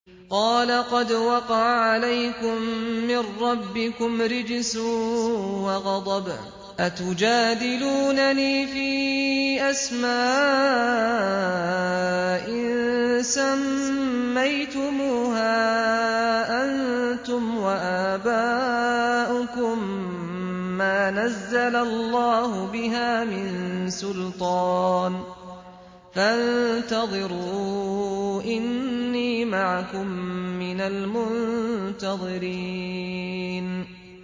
قَالَ قَدْ وَقَعَ عَلَيْكُم مِّن رَّبِّكُمْ رِجْسٌ وَغَضَبٌ ۖ أَتُجَادِلُونَنِي فِي أَسْمَاءٍ سَمَّيْتُمُوهَا أَنتُمْ وَآبَاؤُكُم مَّا نَزَّلَ اللَّهُ بِهَا مِن سُلْطَانٍ ۚ فَانتَظِرُوا إِنِّي مَعَكُم مِّنَ الْمُنتَظِرِينَ